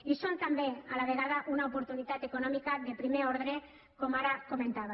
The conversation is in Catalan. i són també a la vegada una oportunitat econòmica de primer ordre com ara comentava